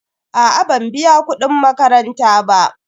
A'a ban biya kudin makaranta ba.